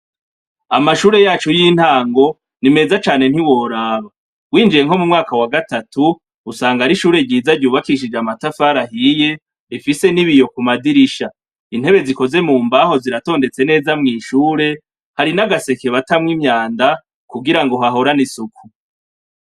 Amashuri yacu yintango nimeza cane ntiworaba winjiye nko mu mwaka wa gatatu usanga ari ishuri ryiz ry'ubakishije amatafari ahiye rifise n'ibiyo ku madirisha intebe zikoze mu mbaho ziratondetse neza mw'ishure hari n'agaseke batamwo imyanda kugirango hahorane isuku.